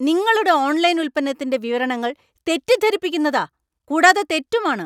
നിങ്ങളുടെ ഓൺലൈൻ ഉൽപ്പന്നത്തിന്‍റെ വിവരണങ്ങൾ തെറ്റിദ്ധരിപ്പിക്കുന്നതാ. കൂടാതെ തെറ്റുമാണ്.